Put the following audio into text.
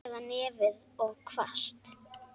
Eða nefið of hvasst.